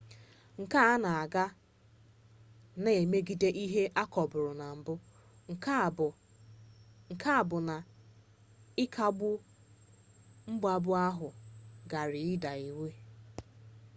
nke a na-aga na mmegide ihe akọbụrụ na mbụ nke bụ na ịkagbu mgbapụ ahụ gara ịda iwu